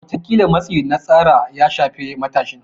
Wataƙila matsi na tsara ya shafe matashin.